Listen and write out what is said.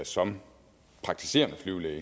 som praktiserende flyvelæge